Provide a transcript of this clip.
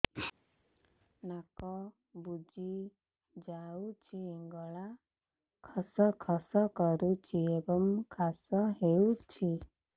ନାକ ବୁଜି ଯାଉଛି ଗଳା ଖସ ଖସ କରୁଛି ଏବଂ କାଶ ହେଉଛି